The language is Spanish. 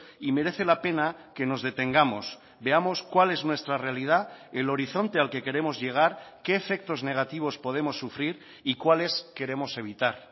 y merece la pena que nos detengamos veamos cuál es nuestra realidad el horizonte al que queremos llegar qué efectos negativos podemos sufrir y cuáles queremos evitar